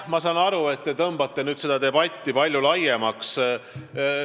Ma saan aru, et te tõmbate seda debatti palju laiemaks.